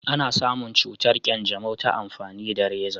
ana samun cutar kyanjamau ta amfani da raza